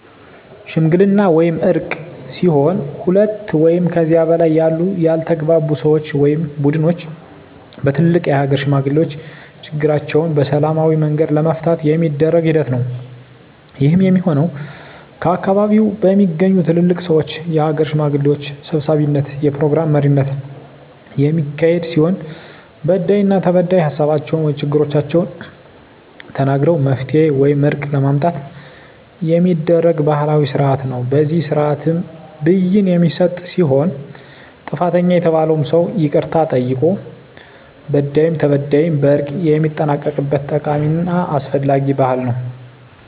ሽምግልና ወይም እርቅ ሲሆን ሁለት ወይም ከዚያ በላይ ያሉ ያልተግባቡ ሰወች ወይም ቡድኖች በትልልቅ የሀገር ሽማግሌዎች ችግራቸዉን በሰላማዊ መንገድ ለመፍታት የሚደረግ ሂደት ነዉ። ይህም የሚሆን ከአካባቢዉ በሚገኙ ትልልቅ ሰወች(የሀገር ሽማግሌዎች) ሰብሳቢነት(የፕሮግራም መሪነት) የሚካሄድ ሲሆን በዳይና ተበዳይ ሀሳባቸዉን(ችግሮቻቸዉን) ተናግረዉ መፍትሄ ወይም እርቅ ለማምጣት የሚደረግ ባህላዊ ስርአት ነዉ። በዚህ ስርአትም ብይን የሚሰጥ ሲሆን ጥፋተኛ የተባለዉም ሰዉ ይቅርታ ጠይቆ በዳይም ተበዳይም በእርቅ የሚጠናቀቅበት ጠቃሚና አስፈላጊ ባህል ነዉ።